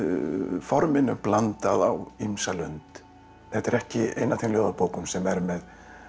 forminu blandað á ýmsa lund þetta er ekki ein af þeim ljóðabókum sem er með